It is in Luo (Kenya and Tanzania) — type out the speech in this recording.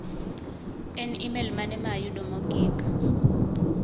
En imel mane ma ayudo mogik?